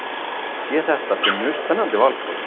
Sé þetta sem mjög spennandi valkost